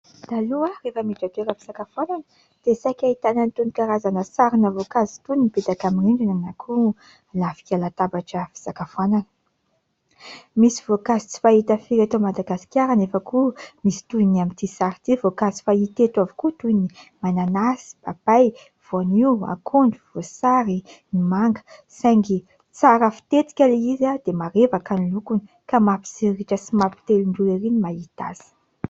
Taloha aho rehefa miditra toeram-pisakafoanana dia saika ahitana an'itony karazana sarina voankazo itony mipetaka amin'ny rindrina na koa lafika latabatra fisakafoanana. Misy voankazo tsy fahita firy eto Madagasikara anefa koa misy toy ny amin'ity sary ity voankazo fahita eto avokoa toy ny : mananasy ; papay ; voanio ; akondro ; voasary ; ny manga. Saingy tsara fitetika ilay izy dia marevaka ny lokony ka mampitsiriritra sy mampitelin-drora erỳ ny mahita azy.